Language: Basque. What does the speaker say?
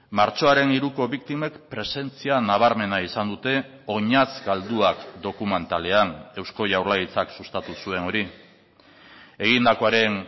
martxoaren hiruko biktimek presentzia nabarmena izan dute oinatz galduak dokumentalean eusko jaurlaritzak sustatu zuen hori egindakoaren